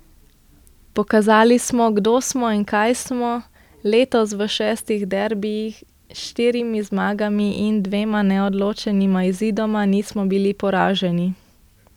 Pokazali smo, kdo smo in kaj smo, letos v šestih derbijih s štirimi zmagami in dvema neodločenima izidoma nismo bili poraženi.